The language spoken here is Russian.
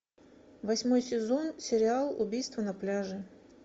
восьмой сезон сериал убийство на пляже